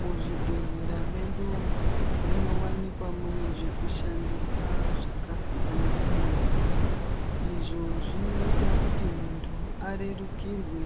Muzvibhedhleya medu munowanikwa mune zvekushandisa zvakasiyana-siyana. Izvo zvinoita kuti muntu arerukirwe